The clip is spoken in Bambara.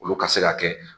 Olu ka se ka kɛ